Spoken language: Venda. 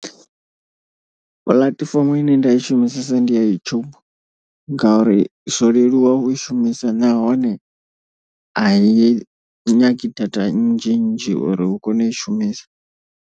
Puḽatifomo ine nda i shumisesa ndi ya YouTube. Ngauri zwo leluwa u i shumisa nahone ai nyagi data nnzhi nnzhi uri u kone u i shumisa.